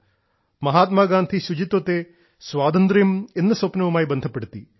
മഹാത്മാഗാന്ധി ശുചിത്വത്തെ സ്വാതന്ത്ര്യം എന്ന സ്വപ്നവുമായി ബന്ധപ്പെടുത്തി